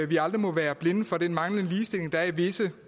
vi aldrig må være blinde for den manglende ligestilling der er i visse